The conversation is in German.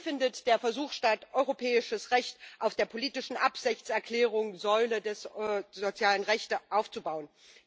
Hier findet der Versuch statt, europäisches Recht auf der politischen Absichtserklärung Säule der sozialen Rechte aufzubauen.